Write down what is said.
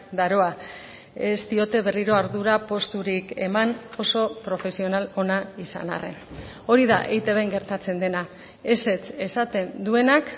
daroa ez diote berriro ardura posturik eman oso profesional ona izan arren hori da eitbn gertatzen dena ezetz esaten duenak